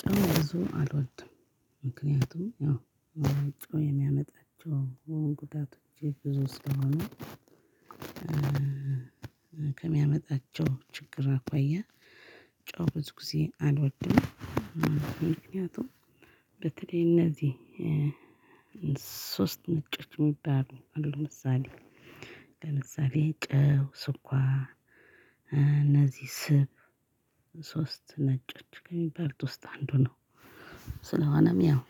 ጨው ብዙ አልወድም። ምክንያቱም አዎ ጨው የሚያመጣቸው ጉዳቶች ብዙ ስለሆኑ ከሚያመጣቸው ችግር አኳያ ጨው ብዙ ጊዜ አልወድም ምክንያቱም በተለይ እነዚህ ሶስት ነጮች የሚባሉ ለምሳሌ ለምሳሌ ጨው ስኳር እነዚህ ስብ ሶስት ነጮች ከሚባሉት ውስጥ አንዱ ነው። ስለሆነም ያው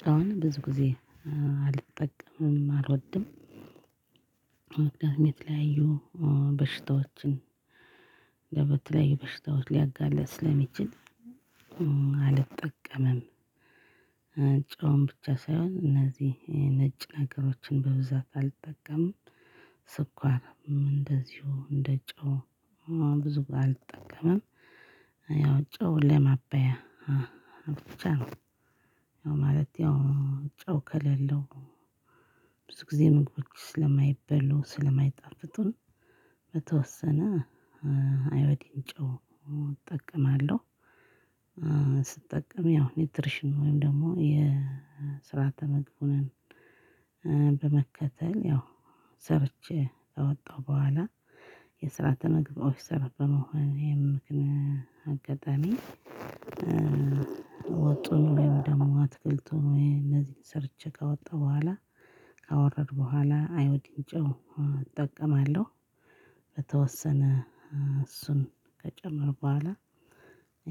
ጨውን ብዙ ጊዜ አልጠቀምም፣ አልወድም። የተለያዩ በሽታዎችን ለበ ለተለያዩ በሽታዎች ሊያጋልጥ ስለሚችል አልጠቀመም። ጨውን ብቻ ሳይሆን እነዚህ ነጭ ነገሮችን በብዛት አልጠቀምም። ስኳርም እንደዚሁ እንደጨው ብዙም አልጠቀምም። ያው ጨው ለማበያ ብቻ ነው። ያው ማለት ያው ጨው ከሌለው ብዙ ግዜ ምግቦች ስለማይበሉ ስለማይጣፍጡ በተወሰነ አዮዲን ጨው እጠቀማለሁ። ስጠቀም ያው ኒውትሪሽን ወይም ደግሞ የስርዓተ ምግብን በመከተል ያው ሰርቼ ካወጣው በኋላ የስርዓተ ምግብ ኦፊሰር በመሆኔ ምክን አጋጣሚ ወጡን ወይም ደግሞ አትክልቱን እነዚህን ሰርቼ ካወጣሁ በኋላ ካወረድኩ በኋላ አዮዲን ጨው እጠቀማለሁ። በተወሰነ እሱን ከጨመርኩ በኋላ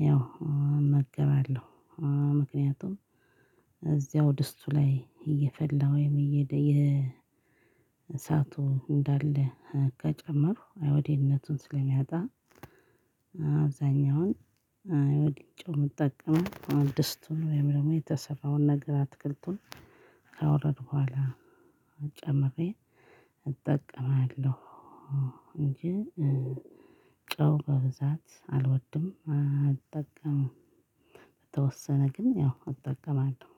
ያው እመገባለሁ። ምክንያቱም እዚያው ድስቱ ላይ እየፈላ ወይም እየሄደ የእሳቱ እንዳለ ከጨመሩ አዮዲንነቱን ስለሚያጣ አብዛኛውን አዮዲን ጨው የምጠቀመው ድስቱን ወይም ደግሞ የተሰራውን ነገር አትክልቱን ካወረድኩ በኋላ ጨምሬ እጠቀማለሁ እንጂ ጨው በብዛት አልወድም፣ አልጠቀምም። በተወሰነ ግን ያው እጠቀማለው።